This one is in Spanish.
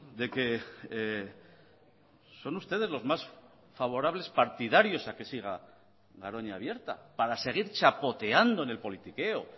de que son ustedes los más favorables partidarios a que siga garoña abierta para seguir chapoteando en el politiqueo